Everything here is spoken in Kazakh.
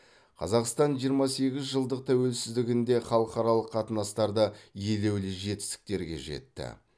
қазақстан жиырма сегіз жылдық тәуелсіздігінде халықаралық қатынастарда елеулі жетістіктерге жетті